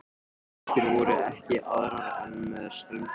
Götur voru ekki aðrar en með ströndinni.